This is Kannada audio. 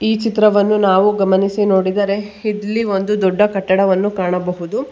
ಈ ಚಿತ್ರವನ್ನು ನಾವು ಗಮನಿಸಿ ನೋಡಿದರೆ ಇಲ್ಲಿ ಒಂದು ದೊಡ್ಡ ಕಟ್ಟಡವನ್ನು ಕಾಣಬಹುದು.